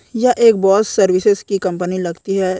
यह एक boys services की कंपनी लगती है।